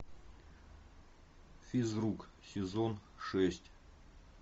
физрук сезон шесть